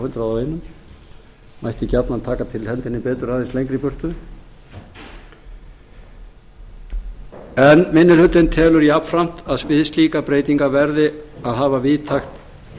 hundrað og einn mætti gjarnan taka til hendinni betur aðeins lengra í burtu minni hlutinn telur jafnframt að við slíkar breytingar verði að hafa víðtækt